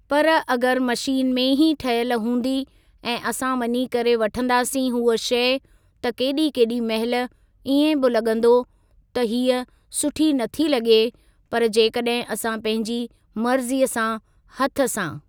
पर अगरि मशीन में ई ठहियलु हूंदी ऐं असां वञी करे वठंदासीं हूअ शइ त केॾी केॾी महिल इएं बि लॻंदो त हीअ सुठी नथी लॻे पर जेकॾहिं असां पंहिंजी मर्ज़ीअ सां हथ सां।